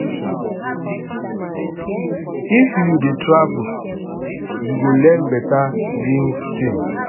if you dey travel you go learn better new things